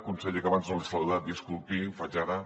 conseller que abans no l’he saludat disculpi ho faig ara